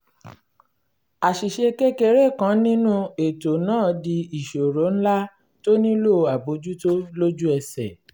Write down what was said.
àṣìṣe kékeré kan nínú ètò náà di ìṣòro ńlá tó nílò àbójútó lójú ẹsẹ̀